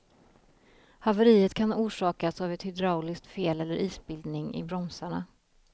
Haveriet kan ha orsakats av ett hydrauliskt fel eller isbildning i bromsarna.